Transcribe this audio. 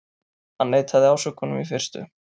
Hann neitaði ásökunum í fyrstu